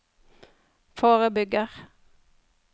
forebygger